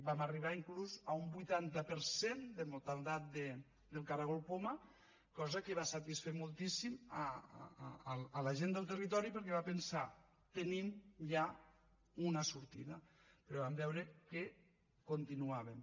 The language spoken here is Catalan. vam arribar inclús a un vuitanta per cent de mortaldat del caragol poma cosa que va satisfer moltíssim la gent del territori perquè va pensar tenim ja una sortida però vam veure que continuaven